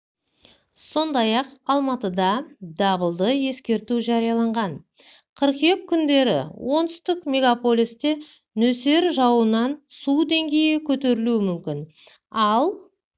сондай-ақ алматыда дабылды ескерту жарияланған қыркүйек күндері оңтүстік мегаполисте нөсер жауыннан су деңгейі көтерілуі мүмкін ал